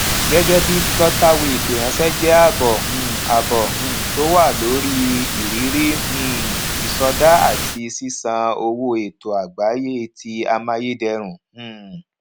gẹgẹ bíi flutterwave ìránṣẹ jẹ àbọ um àbọ um tó wà lórí ìrírí um ìsọdá àti sísan owó ètò àgbáyé ti amáyédẹrùn um